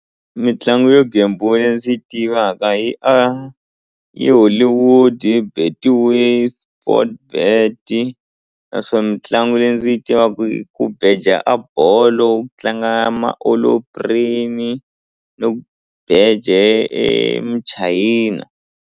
Mitlangu yo gembula leyi ndzi yi tivaka yi a i Hollywood Betway Sport bett naswona mitlangu leyi ndzi yi tivaka hi ku beja a bolo tlanga ya ni ku beje e muchayina.